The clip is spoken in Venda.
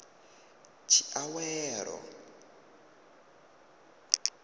tshiawelo